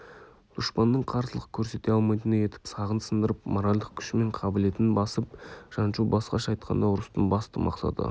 дұшпанның қарсылық көрсете алмайтындай етіп сағын сындырып моральдық күші мен қабілетін басып жаншу басқаша айтқанда ұрыстың басты мақсаты